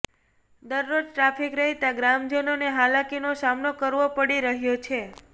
દરરોજ ટ્રાફિક રહેતા ગ્રામજનોને હાલાકીનો સામનો કરવો પડી રહ્યો છે